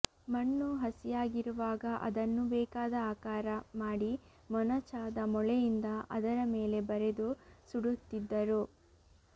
ಮಣ್ಣು ಹಸಿಯಾಗಿರುವಾಗ ಅದನ್ನು ಬೇಕಾದ ಆಕಾರ ಮಾಡಿ ಮೊನಚಾದ ಮೊಳೆಯಿಂದ ಅದರ ಮೇಲೆ ಬರೆದು ಸುಡುತ್ತಿದ್ದರು